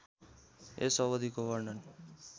यस अवधिको वर्णन